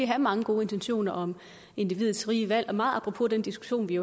have mange gode intentioner om individets frie valg meget apropos den diskussion vi